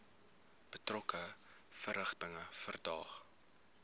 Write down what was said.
betrokke verrigtinge verdaag